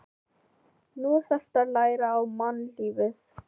Nú þarftu að læra á mannlífið.